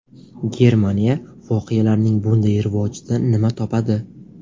Germaniya voqealarning bunday rivojidan nima topadi?